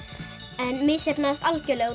en misheppnaðist algjörlega út